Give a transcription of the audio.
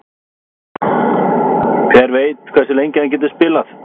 Hver veit hversu lengi hann getur spilað?